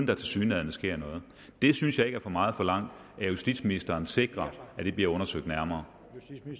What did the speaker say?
der tilsyneladende sker noget jeg synes ikke for meget forlangt at justitsministeren sikrer at det bliver undersøgt nærmere